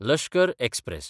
Lashkar express